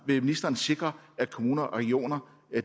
vil ministeren sikre at kommuner og regioner